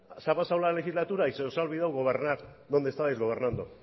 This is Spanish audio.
se ha pasado la legislatura y se os ha olvidado gobernar donde estabais gobernando